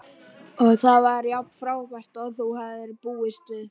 Og var það jafn frábært og þú hafðir búist við?